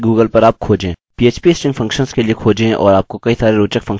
php string functions के लिए खोजें और आपको कई सारे रोचक फंक्शंस मिलेंगे